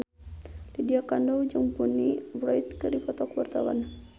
Lydia Kandou jeung Bonnie Wright keur dipoto ku wartawan